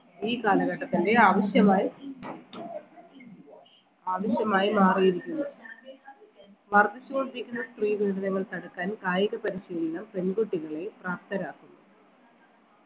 ഈ കാലഘട്ടത്തിൻറെ ആവശ്യമായി ആവിശ്യമായി മാറിയിരിക്കുന്നു വർദ്ധിച്ചു കൊണ്ടിരിക്കുന്ന സ്ത്രീ പീഡനങ്ങൾ തടുക്കാൻ കായിക പരിശീലനം പെൺകുട്ടികളെ പ്രാപ്തരാക്കുന്നു